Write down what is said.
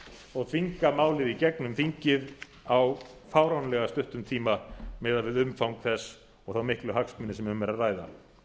og þvinga málið í gegnum þingið á fáránlega stuttum tíma miðað við umfang þess og þá miklu hagsmuni sem um er að ræða